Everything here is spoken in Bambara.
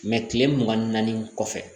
kile mugan ni naani kɔfɛ